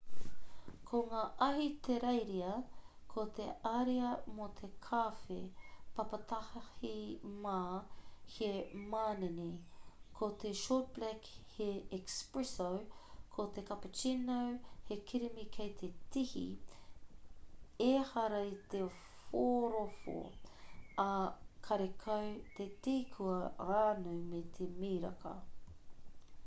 mo ngā ahitereiria ko te ariā mō te kawhe papatahi mā' he manene. ko te short black he espresso ko te cappuccino he kirimi kei te tihi ehara i te whorowho ā karekau te tī kua ranu me te miraka